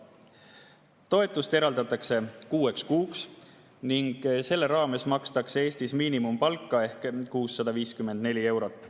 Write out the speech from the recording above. Toetus eraldatakse kuueks kuuks ning selle raames makstakse Eestis miinimumpalka, mis on 654 eurot.